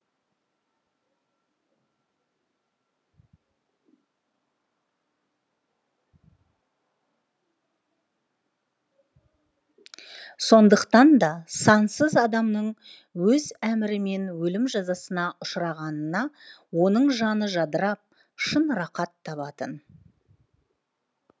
сондықтан да сансыз адамның өз әмірімен өлім жазасына ұшырағанына оның жаны жадырап шын рақат табатын